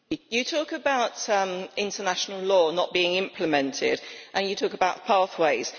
You talk about international law not being implemented and you talk about pathways.